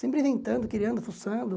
Sempre inventando, criando, fuçando.